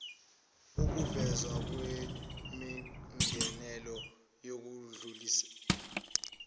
ukuvezwa kwemingenelelo yokudlulisela